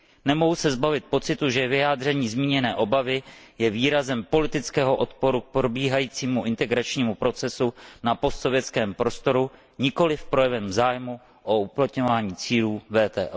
Nemohu se zbavit pocitu, že vyjádření zmíněné obavy je výrazem politického odporu k probíhajícímu integračnímu procesu v postsovětském prostoru, nikoliv projevem zájmu o uplatňování cílů WTO.